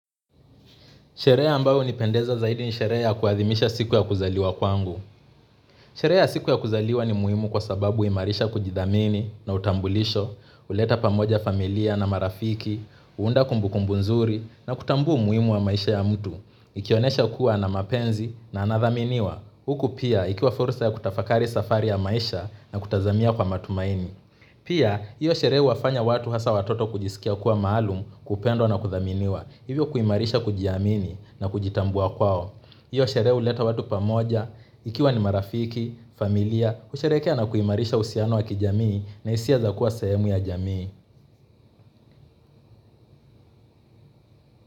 Sherehe ambao huni pendeza zaidi ni sherehe kuadimisha siku ya kuzaliwa kwangu. Shere ya siku ya kuzaliwa ni muimu kwa sababu huimarisha kujidhamini na utambulisho, huleta pamoja familia na marafiki, huunda kumbu kumbu nzuri na kutambua umuimu wa maisha ya mtu. Ikionesha kuwa na mapenzi na anathaminiwa. Huku pia ikiwa fursa ya kutafakari safari ya maisha na kutazamia kwa matumaini. Pia, hiyo shere huwafanya watu hasa watoto kujisikia kuwa maalum, kupendwa na kuthaminiwa. Hivyo kuimarisha kujiamini na kujitambua kwao hiyo sheree huleta watu pamoja ikiwa ni marafiki, familia kusherekea na kuimarisha uhusiano wa kijamii na hisia za kuwa sahemu ya jamii.